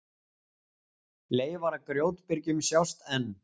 Leifar af grjótbyrgjum sjást enn.